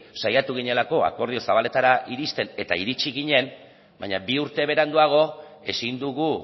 saiatu ginelako akordio zabaletara iristen eta iritsi ginen baina bi urte beranduago ezin dugu